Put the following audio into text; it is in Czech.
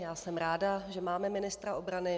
Já jsem ráda, že máme ministra obrany.